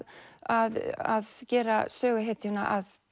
að að gera söguhetjuna að